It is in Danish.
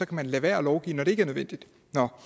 kan lade være at lovgive når det ikke er nødvendigt